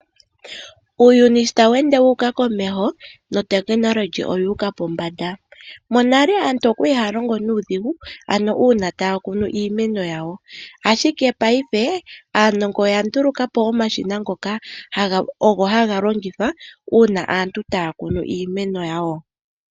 Uuyuni shi tawu ende wu uka komeho notekilohi oyu uka pombanda. Monale aantu oya li haya longo nuudhigu, ano uuna taya kunu iimeno yawo, ashike paife aanongo oya nduluka po omashina ngoka ogo haga longithwa uuna aantu taya kunu iimeno yawo.